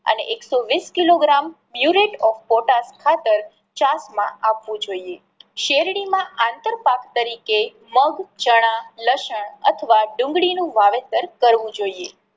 અને એક સો વીસ કિલોગ્રામ ખાતર છાસ માં આપવું જોઈએ. શેરડી માં આંતર પાક તરીકે મગ, ચણા, લસણ અથવા ડુંગળી નું વાવેતર કરવું જોઈએ.